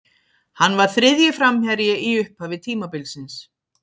Hann var þriðji framherji í upphafi tímabilsins.